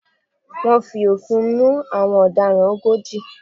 Wọ́n fi òfin mú àwọn ọ̀daràn ogójì.